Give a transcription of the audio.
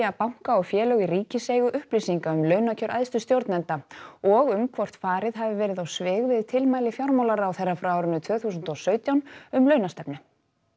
banka og félög í ríkiseigu upplýsinga um launakjör æðstu stjórnenda og um hvort farið hafi verið á svig við tilmæli fjármálaráðherra frá tvö þúsund og sautján um launastefnu